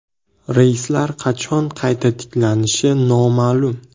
Reyslar qachon qayta tiklanishi noma’lum.